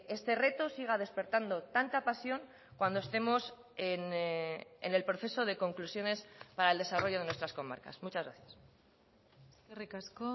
este reto siga despertando tanta pasión cuando estemos en el proceso de conclusiones para el desarrollo de nuestras comarcas muchas gracias eskerrik asko